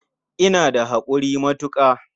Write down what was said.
Ina da haƙuri matuƙa.